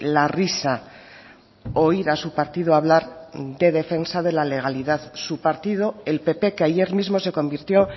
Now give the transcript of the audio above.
la risa oír a su partido hablar de defensa de la legalidad su partido el pp que ayer mismo se convirtió